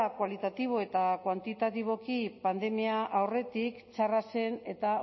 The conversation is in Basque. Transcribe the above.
kualitatibo eta kuantitatiboki pandemia aurretik txarra zen eta